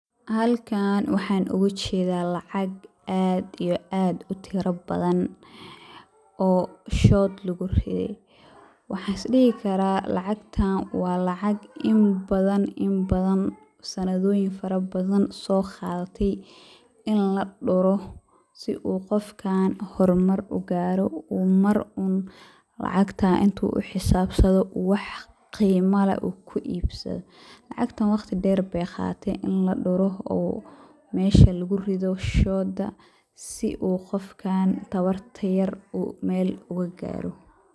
Halkan waxaa ugu jeeda lacag aad iyo aad utira badan, oo shood lagu riday, waxaan is dihi karaa lacagtan waa lacag in badan, sanadooyin fara badan soo qaadate, in laduro si uu qofkaan hor mar ugaaro, uu mar un lacagtaas inuu xisaabsado uu wax qiimo leh ku iibsado, lacagtan waqti deer beey qaadate in laduro oo meesha lagu rido shooda si uu qofkaan tabarta yar meel uga gaaro.